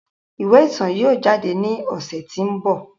Iwe itan yóò jade ni ọsẹ ti n bọ.